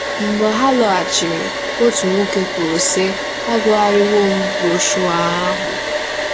Mgbe ha lọghachiri, otu nwoke kwuru, sị: “ agụgharịwo m broshuọ ahụ.